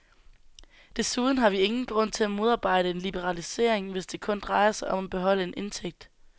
Desuden har vi ingen grund til at modarbejde en liberalisering, hvis det kun drejer sig om at beholde en indtægt.